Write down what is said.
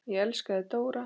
Ég elska þig Dóra.